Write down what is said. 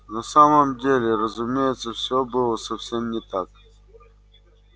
на самом деле разумеется все было совсем не так